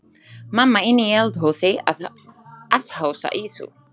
Mamma inni í eldhúsi að afhausa ýsu.